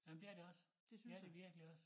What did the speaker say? Nej men det er det også det er det virkelig også